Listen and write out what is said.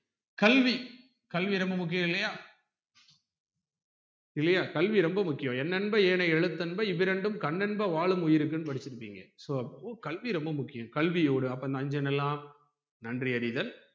கல்வி கல்வி ரொம்ப முக்கியம் இல்லையா இல்லையா கல்வி ரொம்ப முக்கியம் எண்ணென்ப ஏனை எழுத்தென்ப இவ்விரண்டும் கண்ணென்ப வாழும் உயிருக்குனு படிச்சிருப்பீங்க so அப்ப கல்வி ரொம்ப முக்கியம் கல்வியோட அப்ப இந்த ஐஞ்சனெல்லாம் நன்றி அறிதல்